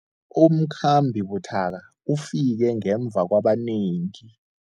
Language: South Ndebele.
Umkhambi buthaka ufike ngemva kwabanengi.